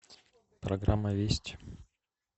программа вести